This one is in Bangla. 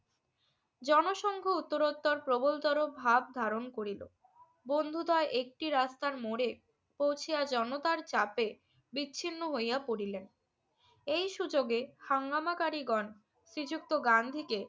জনসংঘ উত্তরোত্তর প্রবলতর ভাব ধারণ করিল। বন্ধুদ্বয় একটি রাস্তার মোড়ে পৌঁছিয়া জনতার চাপে বিচ্ছিন্ন হইয়া পড়িলেন। এই সুযোগে হাঙ্গামাকারীগণ শ্রীযুক্ত গান্ধীকে